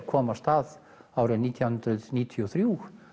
kom af stað nítján hundruð níutíu og þrjú